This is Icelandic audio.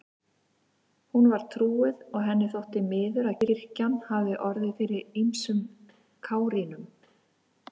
Hún var trúuð og henni þótti miður að kirkjan hafði orðið fyrir ýmsum kárínum.